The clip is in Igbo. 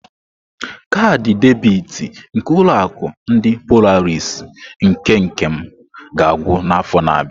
Kaadị debiti nke ulo akụ ndi Polarisii nke Nkem ga-agwụ n'afọ na-abịa.